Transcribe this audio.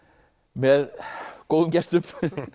með góðum gestum